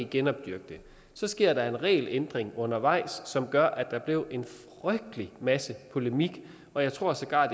genopdyrke det så sker der en regelændring undervejs som gør at der blev en frygtelig masse polemik og jeg tror sågar